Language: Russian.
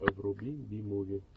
вруби би муви